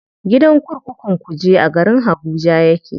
Gidan kurkukun kuje a garin habuja yake.